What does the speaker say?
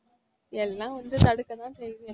எல்லாம் வந்து தடுக்க தான் செய்யுது